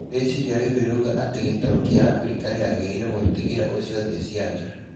Rĩciria rĩu rĩrũuga ati gitarũ kia Africa rĩagĩrĩruo gutĩgĩra ũcio thĩ cĩanja